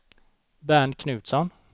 Bernt Knutsson